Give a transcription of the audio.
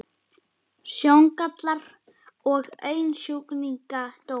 Sjóngallar og augnsjúkdómar